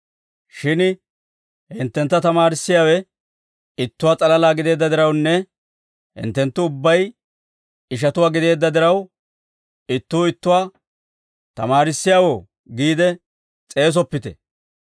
«Shin hinttentta tamaarissiyaawe ittuwaa s'alalaa gideedda dirawunne hinttenttu ubbay ishatuwaa gideedda diraw, ittuu ittuwaa, ‹Tamaarissiyaawoo› giide s'eesoppite.